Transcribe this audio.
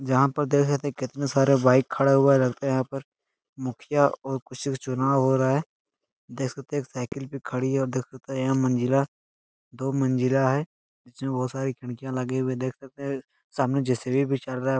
यहाँ पर देख रहे है कितने सारे बाइक खड़े हुए रहते है यहाँ पर। मुखिया और विशेष चुनाव हो रहा है। देख सकते हैं की साइकिल खड़ी है और देख सकते हैं कि मंजिला और दो मंजिला है। सामने जे.सी.बी. भी चल रहा है।